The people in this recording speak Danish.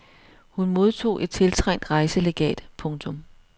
Hun modtog et tiltrængt rejselegat. punktum